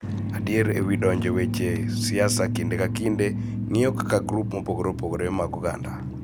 Adier e wi donjo e weche siasa kinde ka kinde ng�iyo kaka grup mopogore opogore mag oganda.